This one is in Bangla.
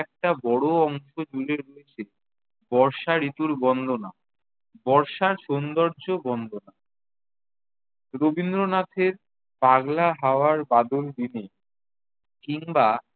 একটা বড় অংশ জুড়ে রয়েছে বর্ষা ঋতুর বন্দনা, বর্ষার সৌন্দর্য বন্দনা। রবীন্দ্রনাথের পাগলা হাওয়ার বাদল দিনে কিংবা